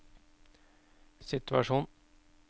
situasjon